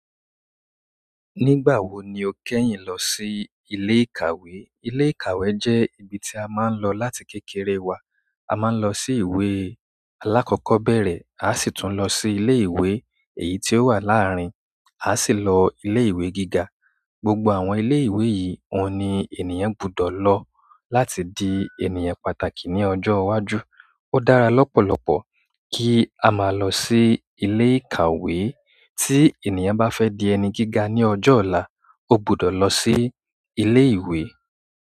Nígbàwo ni o kẹ́yìn lọ sí ilé ìkàwé? Ilé ìkàwé jẹ́ ibi tí a máa ń lọ láti kékeré wa. A máa ń lọ sí ìwé alákọ́kọ́bẹ̀rẹ̀, a a sì tún lọ sí ilé ìwé èyí ti ó wà làárin, a a sì lọ ilé ìwé gíga. Gbogbo àwọn ilé ìwé yìí, oun ni ènìyàn gbọdọ̀ lọ láti di ènìyàn pàtàkì ní ọjọ́ iwájú. Ó dára lọ́pọ̀lọpọ̀ kí a máa lọ sí ilé ìkàwé. Tí ènìyàn bá fẹ́ di ẹni gíga ní ọjọ́ ọ̀la, ó gbọdọ̀ lọ sí ilé ìwé.